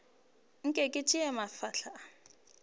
nke ke tša mafahla a